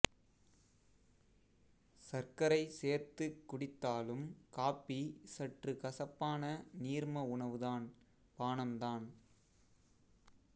சர்க்கரை சேர்த்துக் குடித்தாலும் காப்பி சற்று கசப்பான நீர்ம உணவுதான் பானம்தான்